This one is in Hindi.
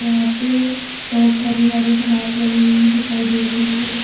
यहां पे बहोत हरी हरी घास लगी हुई दिखाई दे रही है।